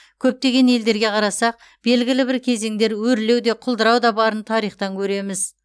көптеген елдерге қарасақ белгілі бір кезеңдер өрлеу де құлдырау да барын тарихтан көреміз